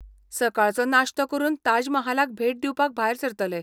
सकाळचो नाश्तो करून ताजमहालाक भेट दिवपाक भायर सरतले.